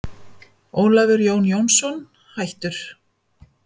Ólafur Jón Jónsson, hættur